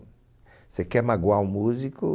Você quer magoar o músico?